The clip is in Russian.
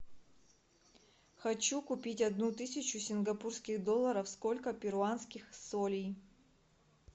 хочу купить одну тысячу сингапурских долларов сколько перуанских солей